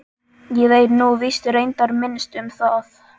Ég veit nú víst reyndar minnst um það.